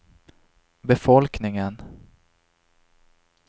befolkningen